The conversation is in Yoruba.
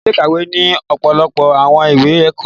Ile-ikawe ni ọpọlọpọ awọn iwe ẹkọ